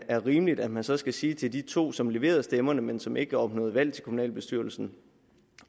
er rimeligt at man så skal sige til de to som leverede stemmerne men som ikke opnåede valg til kommunalbestyrelsen